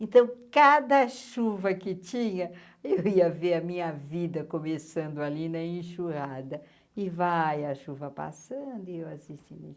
Então, cada chuva que tinha, eu ia ver a minha vida começando ali na enxurrada e vai a chuva passando e eu assistindo.